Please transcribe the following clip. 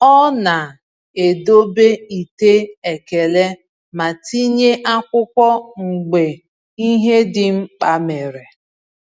Ọ na-edobe ite ekele ma tinye akwụkwọ mgbe ihe dị mkpa mere.